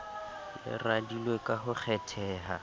le radilwe ka ho kgetheha